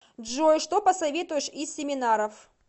джой что посоветуешь из семинаров